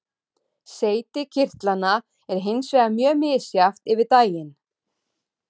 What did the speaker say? Seyti kirtlanna er hins vegar mjög misjafnt yfir daginn.